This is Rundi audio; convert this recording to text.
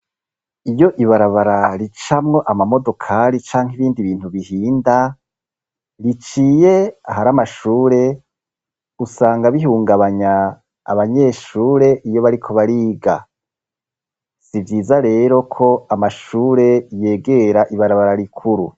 Iyo ibarabara ricamwo amamodokari canke ibindi bintu bihinda biciye ahari amashure usanga bihungabanya abanyeshure iyo bariko bariga si vyiza rero ko amashure yegera ibarabara rikuru.